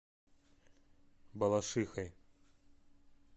балашихой